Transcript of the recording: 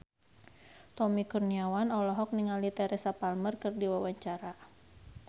Tommy Kurniawan olohok ningali Teresa Palmer keur diwawancara